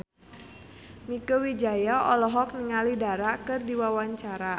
Mieke Wijaya olohok ningali Dara keur diwawancara